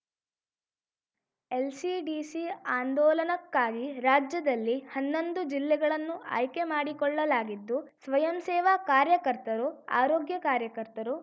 LCDC ಆಂದೋಲನಕ್ಕಾಗಿ ರಾಜ್ಯದಲ್ಲಿ ಹನ್ನೊಂದು ಜಿಲ್ಲೆಗಳನ್ನು ಆಯ್ಕೆ ಮಾಡಿಕೊಳ್ಳಲಾಗಿದ್ದು ಸ್ವಯಂ ಸೇವಾ ಕಾರ್ಯಕರ್ತರು ಆರೋಗ್ಯ ಕಾರ್ಯಕರ್ತರು